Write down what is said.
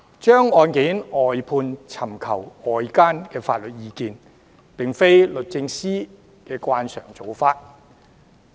將案件外判或尋求外間法律意見，並非律政司的慣常做法。